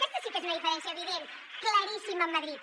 aquesta sí que és una diferència evident claríssima amb madrid